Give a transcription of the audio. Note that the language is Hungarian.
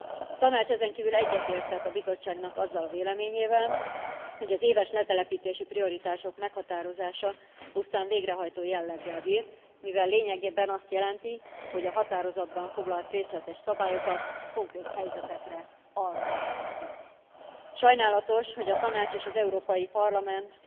A Tanács ezen kívül egyetértett a Bizottságnak azzal a véleményével, hogy az éves letelepítési prioritások meghatározása pusztán végrehajtó jelleggel bír, mivel lényegében azt jelenti, hogy a határozatban foglalt részletes szabályokat konkrét helyzetekre alkalmazzuk. Sajnálatos, hogy a Tanács és az Európai Parlament